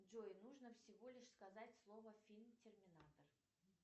джой нужно всего лишь сказать слово фильм терминатор